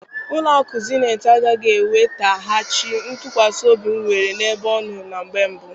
Ụlọ akụ Zenetị agaghị enwetaghachi ntụkwasị obi m nwere na-ebe ọnọ na mgbe mbụ.